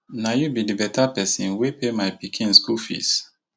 na you be the beta person wey pay my pikin school fees